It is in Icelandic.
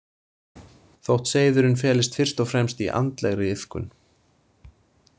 Þótt seiðurinn felist fyrst og fremst í andlegri iðkun.